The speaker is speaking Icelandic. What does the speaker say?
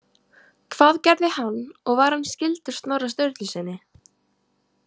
Hvað gerði hann og var hann skyldur Snorra Sturlusyni?